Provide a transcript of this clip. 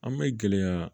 An bɛ gɛlɛya